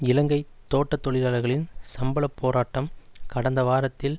இலங்கை தோட்ட தொழிலாளர்களின் சம்பளப் போராட்டம் கடந்த வாரத்தில்